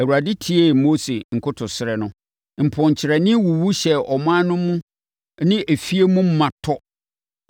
Awurade tiee Mose nkotosrɛ no. Mponkyerɛne wuwu hyɛɛ ɔman no mu ne afie mu ma tɔ.